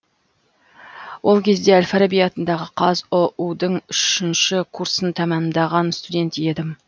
ол кезде әл фараби атындағы қазұу дың үшінші курсын тәмамдаған студент едім